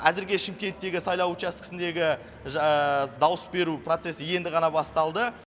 әзірге шымкенттегі сайлау учаскісіндегі дауыс беру процесі енді ғана басталды